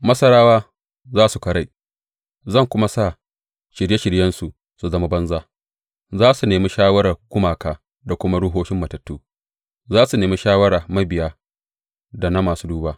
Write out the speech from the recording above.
Masarawa za su karai, zan kuma sa shirye shiryensu su zama banza; za su nemi shawarar gumaka da kuma ruhohin matattu, za su nemi shawarar mabiya da na masu duba.